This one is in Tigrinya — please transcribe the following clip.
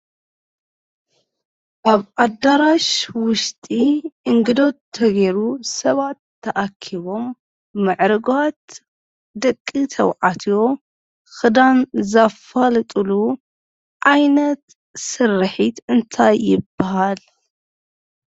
አብ አዳራሽ ውሽጢ እንግዶት ተገይሩ ሰባት ተአኪቦም ምዕርጓት ደቂ ተባዕትዮ ክዳን ዘፋልጥሉ ዓይነት ስርሒት እንታይ ይበሃል?